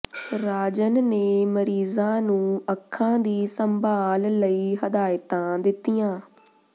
ਰਾਜਨ ਨੇ ਮਰੀਜ਼ਾਂ ਨੂੰ ਅੱਖਾਂ ਦੀ ਸੰਭਾਲ ਲਈ ਹਦਾਇਤਾਂ ਦਿੱਤੀਆਂ